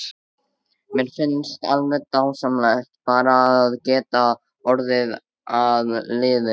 Mér finnst alveg dásamlegt bara að geta orðið að liði.